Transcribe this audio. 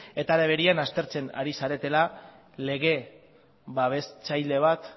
eta legedian aztertzen ari zaretela lege babestzaile bat